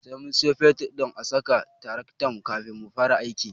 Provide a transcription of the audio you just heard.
Sai mun siyo fetur a saka a taraktan kafin mu fara aiki.